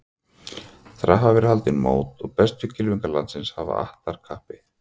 Þar hafa verið haldin mót og bestu kylfingar landsins hafa att þar kappi.